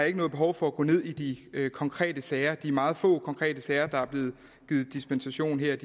ikke noget behov for at gå ned i de konkrete sager de meget få konkrete sager der er blevet givet dispensation i her